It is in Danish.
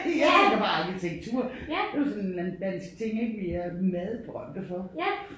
Jeg tænker på arkitektur det jo sådan en eller anden dansk ting ik vi er meget berømte for